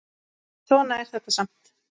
Svona er þetta samt.